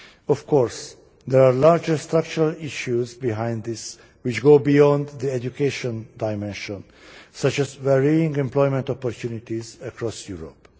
Of course, there are larger structural issues behind this which go beyond the education dimension, such as varying employment opportunities across Europe.